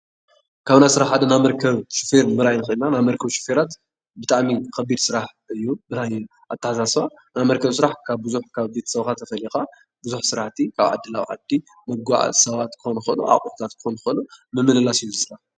ካብ ናይ ስራሕ ሓደ መርከብ ሹፌር ምርኣይ ንክእል ኢና። ናይ መርከብ ሹፈራት ብጣዕሚ ከቢድ ስራሕ እዩ። ናይ ኣተሓሳስባ ናይ መርከብ ስራሕ ካብ ብዙሕ ካብ ቤተሰብካ ተፈሊካ ብዙሕ ስራሕቲ ናብ ዓዲ ንምጉዕዓዝ ሰባት ክኮኑ ይክእሉ ፣ኣቁሑታት ክኮኑ ይክእሉ ምምልላስ እዩ እዚ ስራሕ።